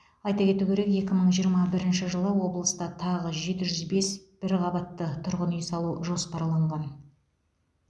айта кету керек екі мың жиырма бірінші жылы облыста тағы жеті жүз бес бір қабатты тұрғын үй салу жоспарланған